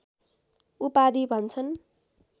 उपाधि भन्छन्